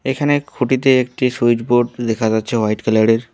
এখানে খুঁটিতে একটি সুইচবোর্ড দেখা যাচ্ছে হোয়াইট কালার -এর।